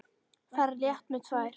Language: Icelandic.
Ferð létt með tvær.